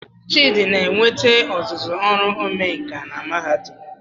Chidi na-enweta ọzụzụ ọrụ omenkà na Mahadum